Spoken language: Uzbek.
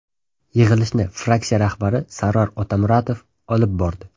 Yig‘ilishni fraksiya rahbari Sarvar Otamuratov olib bordi.